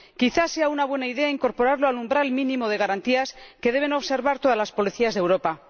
Quizá sea una buena idea incorporarlo al umbral mínimo de garantías que deben observar todas las policías de Europa.